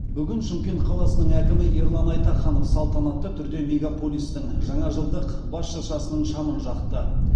бүгін шымкент қаласының әкімі ерлан айтаханов салтанатты түрде мегаполистің жаңажылдық бас шыршасының шамын жақты